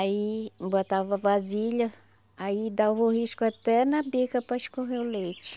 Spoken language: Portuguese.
Aí botava vasilha, aí dava o risco até na bica para escorrer o leite.